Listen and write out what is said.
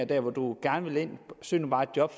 der hvor du gerne vil ind søg nu bare et job